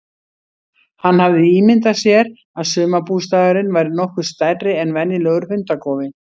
Hann hafði ímyndað sér að sumarbústaðurinn væri nokkuð stærri en venjulegur hundakofi.